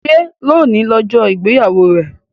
Ṣe loni ọjọ igbeyawo rẹ?